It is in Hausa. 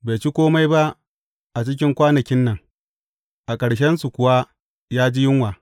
Bai ci kome ba a cikin kwanakin nan, a ƙarshensu kuwa ya ji yunwa.